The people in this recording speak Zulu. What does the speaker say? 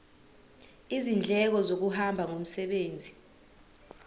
izindleko zokuhamba ngomsebenzi